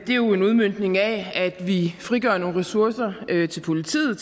det er jo en udmøntning af at vi frigør nogle tiltrængte ressourcer til politiet